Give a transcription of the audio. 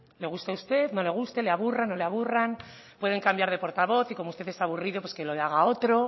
le guste a usted no le guste le aburran no le aburran pueden cambiar de portavoz y como usted está aburrido pues que lo haga otro